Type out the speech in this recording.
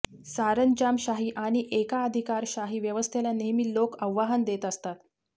सरंजामशाही आणि एकाधिकारशाही व्यवस्थेला नेहमी लोकं आव्हान देत असतात